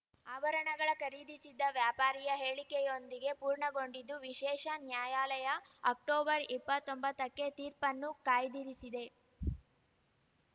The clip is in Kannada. ಆಭರಣಗಳ ಖರೀದಿಸಿದ್ದ ವ್ಯಾಪಾರಿಯ ಹೇಳಿಕೆಯೊಂದಿಗೆ ಪೂರ್ಣಗೊಂಡಿದ್ದು ವಿಶೇಷ ನ್ಯಾಯಾಲಯ ಅಕ್ಟೊಬರ್ಇಪ್ಪತ್ತೊಂಬತ್ತಕ್ಕೆ ತೀರ್ಪನ್ನು ಕಾಯ್ದಿರಿಸಿದೆ